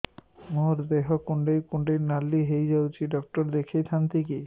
ମୋର ଦେହ କୁଣ୍ଡେଇ କୁଣ୍ଡେଇ ନାଲି ହୋଇଯାଉଛି ଡକ୍ଟର ଦେଖାଇ ଥାଆନ୍ତି